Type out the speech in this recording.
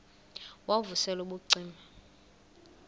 wav usel ubucima